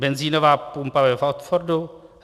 Benzínová pumpa ve Watfordu?